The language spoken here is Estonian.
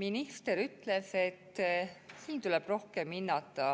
Minister ütles, et siin tuleb rohkem hinnata